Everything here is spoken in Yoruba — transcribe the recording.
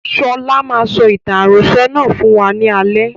Sọlá máa sọ ìtàn àròsọ̀ náà fún wa ní alẹ́